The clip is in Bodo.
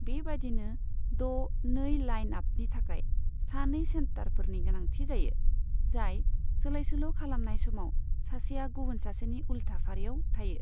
बेबायदिनो द' नै लाइनआपनि थाखाय सानै सेटारफोरनि गोनांथि जायो, जाय सोलायसोल' खालामनाय समाव सासेया गुबुन सासेनि उल्था फारियाव थायो।